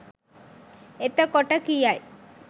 එතකොට කියයි